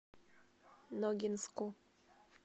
ногинску